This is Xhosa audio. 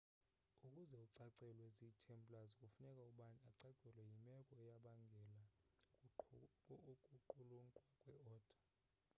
ukuze ucacelwe zi templars kufuneka ubani acacelwe yimeko eyabangela ukuqulunqwa kwe oda